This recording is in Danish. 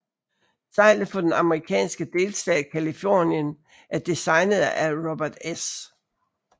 Seglet for den amerikanske delstat Californien er designet af Robert S